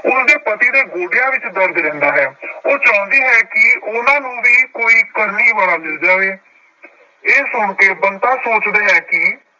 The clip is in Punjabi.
ਉਸਦੇ ਪਤੀ ਦੇ ਗੋਡਿਆਂ ਵਿੱਚ ਦਰਦ ਰਹਿੰਦਾ ਹੈ ਉਹ ਚਾਹੁੰਦੀ ਹੈ ਕਿ ਉਹਨਾਂ ਨੂੰ ਵੀ ਕੋਈ ਕਰਨੀ ਵਾਲਾ ਮਿਲ ਜਾਏ ਇਹ ਸੁਣਕੇ ਬੰਤਾ ਸੋਚਦਾ ਹੈ ਕਿ